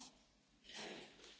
Panie Przewodniczący!